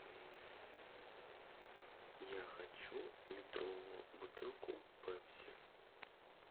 я хочу литровую бутылку пепси